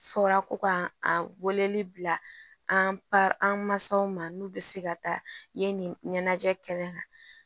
Fɔra ko k'an weleli bila an pa an mansaw ma n'u bɛ se ka taa yen nin ɲɛnajɛ kɛnɛ kan